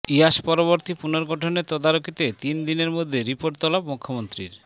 ইয়াস পরবর্তী পুনর্গঠনের তদারকিতে তিন দিনের মধ্যে রিপোর্ট তলব মুখ্যমন্ত্রীর